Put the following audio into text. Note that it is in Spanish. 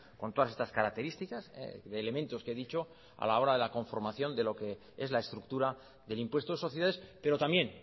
con todas estas características de elementos que he dicho a la hora de la conformación de lo que es la estructura del impuesto de sociedades pero también